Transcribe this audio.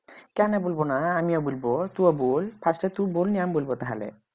কেন বলব না আমিও বলবো তুইও বল first তুই বল নিয়ে আমি বলবো তাহলে